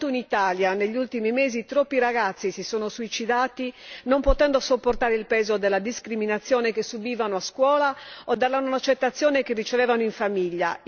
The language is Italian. Soltanto in Italia negli ultimi mesi troppi ragazzi si sono suicidati non potendo sopportare il peso della discriminazione che subivano a scuola o dalla non accettazione che ricevevano in famiglia.